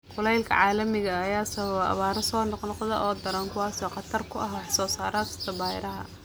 Kulaylka caalamiga ah ayaa sababa abaaro soo noqnoqda oo daran, kuwaas oo khatar ku ah wax soo saarka beeraha.